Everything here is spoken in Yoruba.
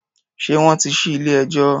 Ṣé wọ́n tí ṣí ilé-ẹjọ́?